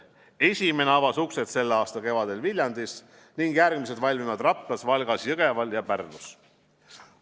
Esimene avas uksed selle aasta kevadel Viljandis ning järgmised valmivad Raplas, Valgas, Jõgeval ja Pärnus.